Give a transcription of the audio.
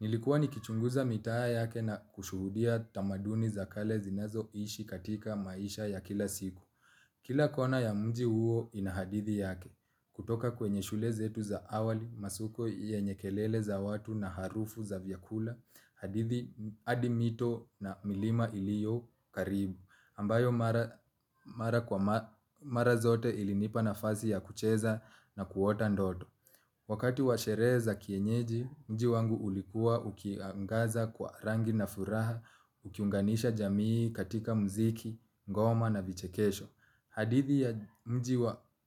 Nilikuwa ni kichunguza mitaa yake na kushuhudia tamaduni za kale zinazo ishi katika maisha ya kila siku. Kila kona ya mji huo ina hadithi yake. Kutoka kwenye shule zetu za awali, masuko yenye kelele za watu na harufu za vyakula, hadithi adi mito na milima iliyo karibu. Ambayo mara kwa mara zote ilinipa nafasi ya kucheza na kuota ndoto. Wakati wa sherehe za kienyeji, mji wangu ulikua ukiangaza kwa rangi na furaha, ukiunganisha jamii katika mziki, ngoma na vichekesho. Hadithi ya mji